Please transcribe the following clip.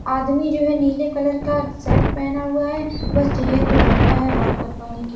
आदमी जो है नीले कलर का शर्ट पहना हुआ है वह चेयर पे बैठा है बाल कटबाने के --